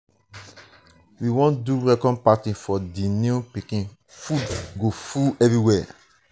we wan do welcome party for di new pikin food go full everywhere.